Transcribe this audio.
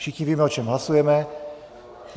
Všichni víme, o čem hlasujeme.